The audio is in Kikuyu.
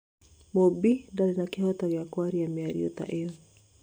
Mumbi ndarĩ na kĩhoto gĩa kwaria mĩario ta ĩyo."